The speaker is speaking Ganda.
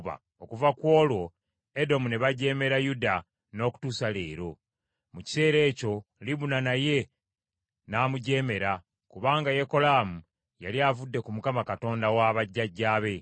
Okuva ku olwo Edomu ne bajeemera Yuda n’okutuusa leero. Mu kiseera ekyo Libuna naye ne n’amujeemera, kubanga Yekolaamu yali avudde ku Mukama Katonda wa bajjajjaabe.